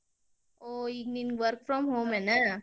ಹೋ ಈಗ ನಿಂಗ್ work from home ಏನ?